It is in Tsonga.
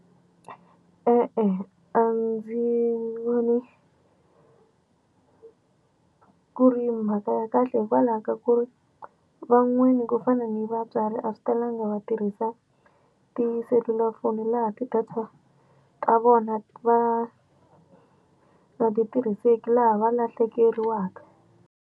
E-e, a ndzi voni ku ri mhaka ya kahle hikwalaho ka ku ri van'wani ku fana ni vatswari a swi talanga va tirhisa tiselulafoni laha ti-data ta vona va nga ti tirhiseki laha va lahlekeriwaka.